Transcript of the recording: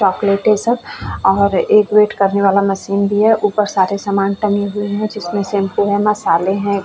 Chocolate है सब और एक वेट करनेवाला मशीन भी है। ऊपर सारे सामान टंगे हुए है जिसमे शैम्पू है मसाले है।